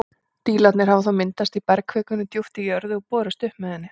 Dílarnir hafa þá myndast í bergkvikunni djúpt í jörðu og borist upp með henni.